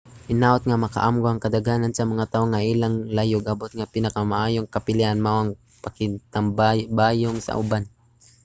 hinaut nga makaamgo ang kadaghanan sa mga tawo nga ang ilang layog-abot nga pinakamaayong kapilian mao ang pakigtambayayong sa uban